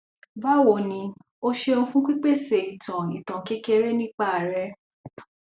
bawo ni o seun fun pipese itan itan kekere nipa re